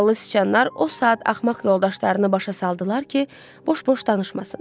Ağıllı siçanlar o saat axmaq yoldaşlarını başa saldılar ki, boş-boş danışmasın.